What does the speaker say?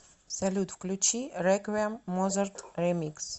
салют включи реквием моцарт ремикс